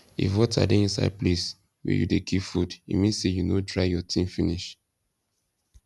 if water dey inside place wen you de keep food e mean say you no dry your thing finish